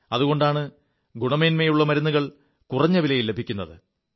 അതുകൊണ്ടാണ് ഗുണമേന്മയുള്ള മരുുകൾ കുറഞ്ഞ വിലയിൽ ലഭിക്കുത്